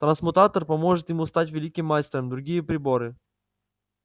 трансмутатор поможет ему стать великим мастером другие приборы